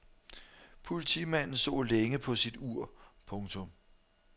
Politimanden så længe på sit ur. punktum